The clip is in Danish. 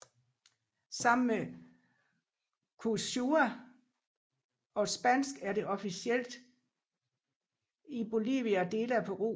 Sammen med quechua og spansk er det officielt i Bolivia og dele af Peru